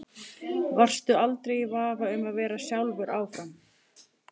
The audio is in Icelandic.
Varstu aldrei í vafa um að vera sjálfur áfram?